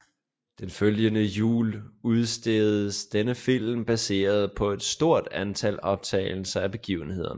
Den følgende jul udsendtes denne film baseret på et stort antal optagelser af begivenhederne